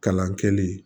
Kalan kɛli